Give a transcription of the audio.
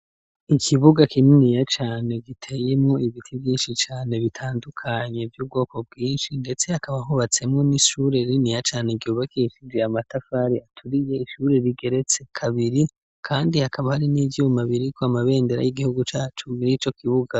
Ikibuga kininiya cane giteyemwo ibiti vyinshi cane bitandukanye vy'ubwoko bwinshi, ndetse hakaba ahubatsemwo n'ishure liniya cane gyubakishizwe amatafari aturiye ishure rigeretse kabiri, kandi hakaba hari n'ivyuma biriko amabendera y'igihugu ca cumi n'ico kibuga.